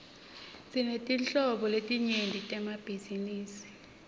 sinetetinhlobo letinyenti temabhizinisi